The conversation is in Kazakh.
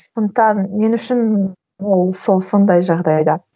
сондықтан мен үшін ол сол сондай жағдайда